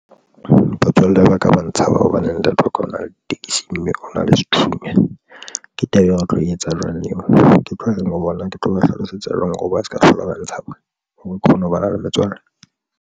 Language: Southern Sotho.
Batswalle ba ka ba ntshaba hobane ntate wa ka ona le ditekesi mme o na le sethunya mme ke taba e re tlo etsa jwang eo ke tlo reng ho bona, ke tlo ba hlalosetsa jwang hore o ba se ka hlola ba ntshaba hore ke kgone ho bana le metswalle.